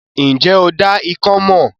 Ǹ jẹ́ o dá ikán mọ̀?